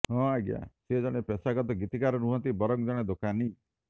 ହଁ ଆଜ୍ଞା ସେ ଜଣେ ପେଷାଗତ ଗୀତିକାର ନୁହଁନ୍ତି ବରଂ ଜଣେ ଦୋକାନି